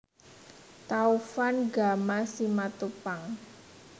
Taufan Gama Simatupang